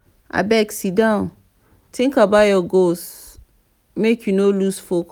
abeg siddon tink about your goals make you no loose focus.